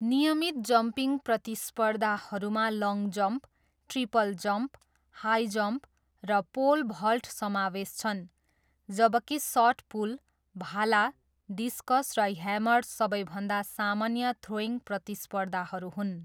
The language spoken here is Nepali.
नियमित जम्पिङ प्रतिस्पर्धाहरूमा long jump, triple jump, high jump र पोल भल्ट समावेश छन्, जबकि सट पुट, भाला, डिस्कस र ह्यामर सबैभन्दा सामान्य थ्रोइङ प्रतिस्पर्धाहरू हुन्।